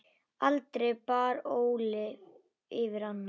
Aldrei bar Óli yfir ána.